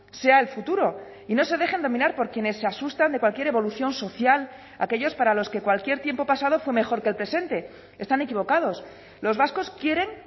sea el futuro y no se dejen dominar por quienes se asustan de cualquier evolución social aquellos para los que cualquier tiempo pasado fue mejor que el presente están equivocados los vascos quieren